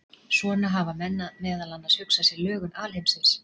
Svona hafa menn meðal annars hugsað sér lögun alheimsins.